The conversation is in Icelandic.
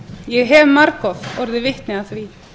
ég hef margoft orðið vitni að því